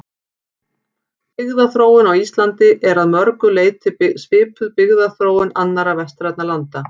Byggðaþróun á Íslandi er að mörgu leyti svipuð byggðaþróun annarra vestrænna landa.